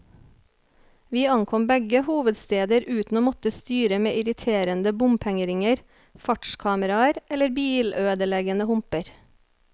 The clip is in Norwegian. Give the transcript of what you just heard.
Vi ankom begge hovedsteder uten å måtte styre med irriterende bompengeringer, fartskameraer eller bilødeleggende humper.